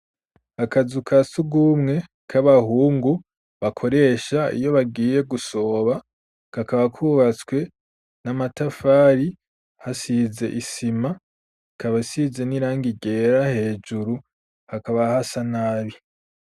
Akazu ka sugumwe k'abahungu bakoresha iyo bagiye gusoba kakaba kubatswe n'amatafari hasize isima kabasize n'irangi ryera hejuru hakaba hasa nabi.